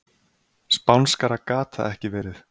Spánskara gat það ekki verið.